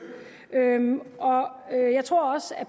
jeg tror også at